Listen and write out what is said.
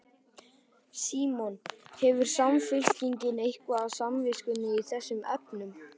Símon: Hefur Samfylkingin eitthvað á samviskunni í þessum efnum?